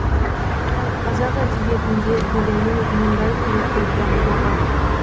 қазақ әдебиетінде өлеңнің мұндай түрі көп дамымаған